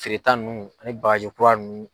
Feereta ninnu ani bagaji kura ninnu.